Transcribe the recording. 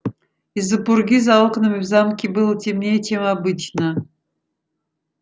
из-за пурги за окнами в замке было темнее чем обычно